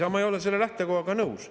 Isamaa ei ole selle lähtekohaga nõus.